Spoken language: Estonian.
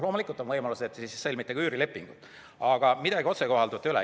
Loomulikult on siis võimalus mitte sõlmida üürilepingut, aga midagi otsekohalduvat ei ole.